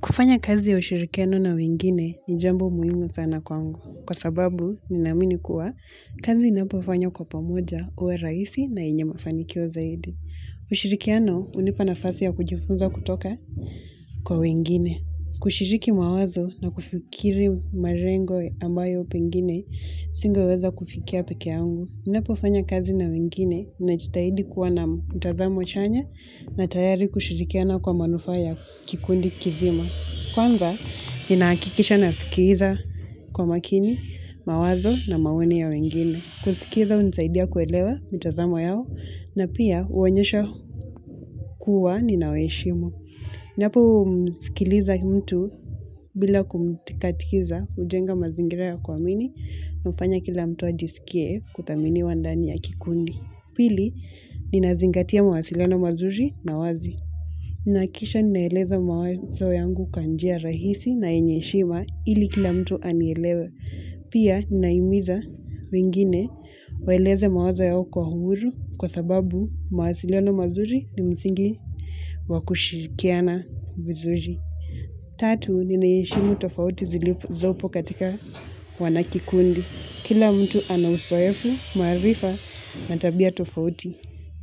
Kufanya kazi ya ushirikiano na wengine ni jambo muhimu sana kwa angu. Kwa sababu, ninamini kuwa, kazi inapofanya kwa pamoja uwe raisi na inyamafanikio zaidi. Ushirikiano, unipanafasi ya kujifunza kutoka kwa wengine. Kushiriki mawazo na kufikiri marengo ambayo pengine, singo weza kufikia peke angu. Ninapofanya kazi na wengine na chitahidi kuwa na mtazamo chanya na tayari kushirikiano kwa manufaya kikundi kizima. Kwanza, ninaakikisha na sikiza kwa makini, mawazo na mawene ya wengine. Kusikiza unzaidia kuelewa mitazamo yao na pia uanyesha kuwa ninaweishimo. Niyapo usikiliza mtu bila kumtikatikiza, ujenga mazingira ya kwa mini, nufanya kila mtu ajisikie kutamini wandani ya kikundi. Pili, ninazingatia mawasilano mazuri na wazi. Nakisha ninaeleza mawazo yangu kanjia rahisi na enyeshima ili kila mtu anielewe. Pia naimiza wingine waeleze mawazo yao kwa huru kwa sababu mawasilono mazuri ni msingi wakushirikiana vizuji. Tatu, ninaishimu tofauti zilipu zopo katika wanakikundi. Kila mtu anawusoyefu, marifa, natabia tofauti.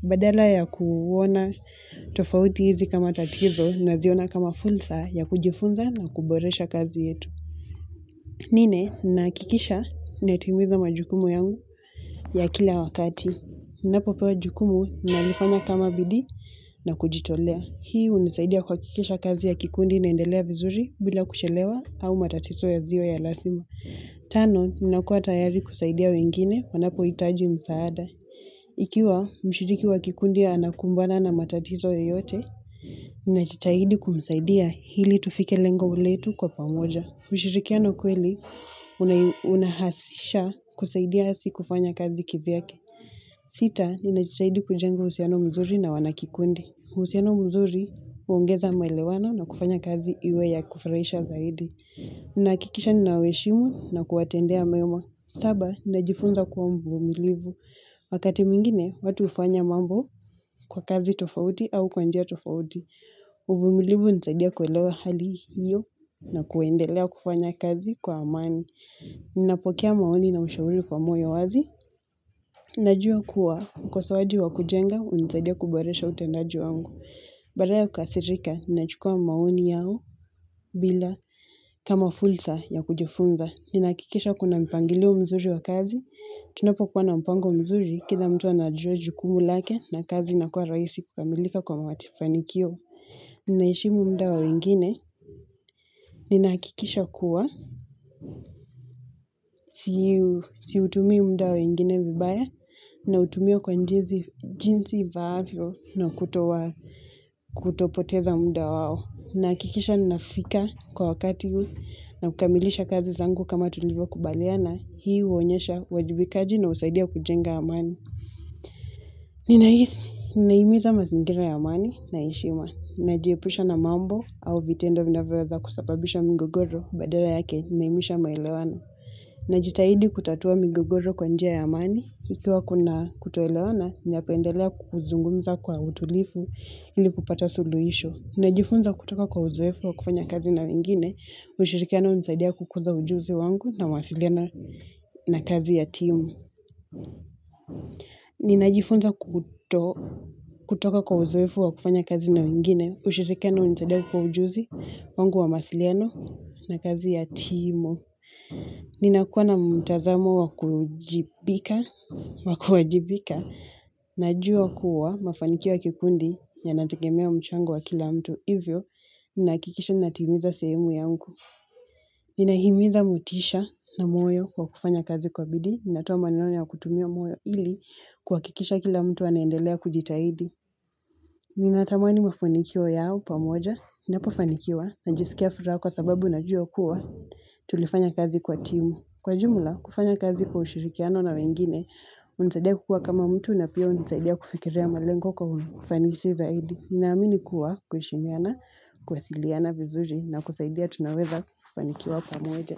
Badala ya kuwona tofauti hizi kama tatizo na ziona kama fulsa ya kujifunza na kuboresha kazi yetu. Nine, nakikisha netimuiza majukumu yangu ya kila wakati. Napopo majukumu nalifanya kama bidi na kujitolea. Hii unisaidia kwa kikisha kazi ya kikundi naendelea vizuri bila kushelewa au matatizo ya ziwa ya lasima. Tano, minakua tayari kusaidia wengine wanapo itaji msaada. Ikiwa mshiriki wa kikundi ya anakumbana na matatizo ya yote, minachitahidi kumsaidia hili tufike lengo uletu kwa pamoja. Mshirikiano kweli, unahasisha kusaidia si kufanya kazi kivyake. Sita, minachitahidi kujengo usiano mzuri na wanakikundi. Husieno mzuri, uungeza melewano na kufanya kazi iwe ya kufraisha zaidi. Nnakikisha ninaweshimu na kuatendea meuma. Saba, ninajifunza kuwa mvumilivu. Wakati mingine, watu ufanya mambo kwa kazi tofauti au kwanjia tofauti. Mvumilivu nizadia kuwelewa hali hiyo na kuendelea kufanya kazi kwa amani. Nnapokia maoni na mshauri kwa mwawazi. Najua kuwa, kwa sawaji wa kujenga, unizadia kuboresha utendaji wangu. Baraya kukasirika, ninachukua maoni yao bila kama fulsa ya kujofunza. Ninakikisha kuna mpangilio mzuri wa kazi. Tunopo kuwana mpango mzuri, kida mtu anadjoju kumulake na kazi nakuwa raisi kukamilika kwa mawati fanikio. Ninashimu mdao ingine, ninakikisha kuwa, siutumio mdao ingine vibaya, na utumio kwa njinsi vaavyo na kutopoteza mdao wao. Na kikisha ninafika kwa wakati huu na kukamilisha kazi zangu kama tulivyo kubaleana, hii uonyesha wajibikaji na usaidia kujenga amani. Ninaisni, ninaimiza mazingira ya amani na ishima. Najiepisha na mambo au vitendo vinaweweza kusapabisha mingogoro badera yake naimisha mailewana. Naji tahidi kutatua mingogoro kwa njia ya amani. Ikiwa kuna kutuelewana, ninapeendelea kukuzungumza kwa utulifu ili kupata suluisho. Ninajifunza kutoka kwa uzoefu wa kufanya kazi na wengine, ushirikiano unzaidia kukunza ujuzi wangu na masiliana na kazi ya timu. Ninajifunza kutoka kwa uzoefu wa kufanya kazi na wengine, ushirikiano unzaidia kukunza ujuzi wangu wa masiliano na kazi ya timu. Ninakuwa na mtazamo wakujibika, wakujibika, najua kuwa mafanikiwa kikundi ya natakemia wa mchango wa kila mtu. Hivyo, minakikisha ninatimiza semu yangu. Ninahimiza mutisha na moyo kwa kufanya kazi kwa bidi. Ninatoma nilani ya kutumia moyo ili kwa kikisha kila mtu wanaendelea kujitahidi. Ninatamani mafunikio yao pamoja. Ninapofanikiwa na jisikia firao kwa sababu najua kuwa tulifanya kazi kwa timu. Kwa jumla, kufanya kazi kwa ushirikiano na wengine, unisadea kukua kama mtu na pia unisadea kufikirea malengo kwa kufanikisi zaidi. Ninaamini kuwa kwaishiniana, kwa siliana vizuji na kusaidia tunaweza kufanikiwa kwa mweja.